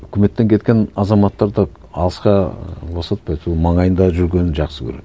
өкіметтен кеткен азаматтарды алысқа і босатпайды ол маңайында жүргенін жақсы көреді